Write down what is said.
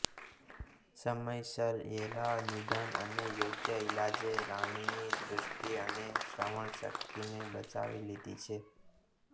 સમયસર યેલા નિદાન અને યોગ્ય ઇલાજે રાનીની દૃષ્ટિ અને શ્રવણશક્તિને બચાવી લીધી હતી